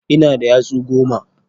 Ina da yatsu goma.